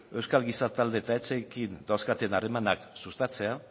euskal giza talde eta etxeekin dauzkaten harremanak sustatzea